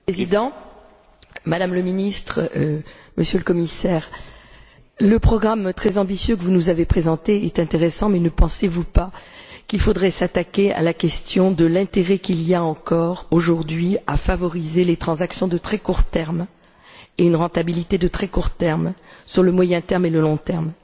Monsieur le Président, Madame la Ministre, Monsieur le Commissaire, le programme très ambitieux que vous nous avez présenté est intéressant, mais ne pensez vous pas qu'il faudrait s'attaquer à la question de l'intérêt qu'il y a encore, aujourd'hui, à favoriser les transactions à très court terme et une rentabilité à très court terme, par rapport au moyen et au long terme?